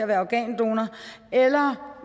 være organdonor eller